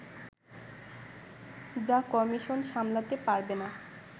যা কমিশন সামলাতে পারবে না